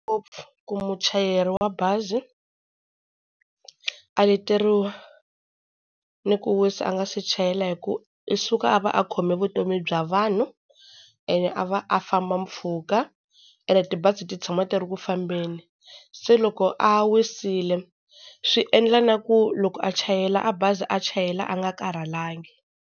Ngopfu ku muchayeri wa bazi a leteriwa ni ku wisa a nga se chayela hi ku u suka a va a khome vutomi bya vanhu, ene a va a famba mpfhuka, ene tibazi ti tshama ti ri ku fambeni, se loko a wisile swi endla na ku loko a chayela a bazi a chayela a nga karhalangi.